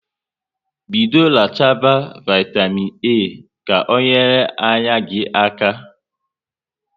Bido rachaba vaitamịn A ka ọ nyere anya gị aka